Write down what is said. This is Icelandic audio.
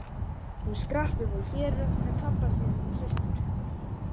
Hún skrapp upp á Hérað með pabba sínum og systur.